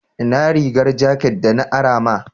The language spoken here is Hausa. Inna rigar jakat de na ara ma?